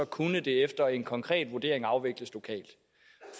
kunne det efter en konkret vurdering afvikles lokalt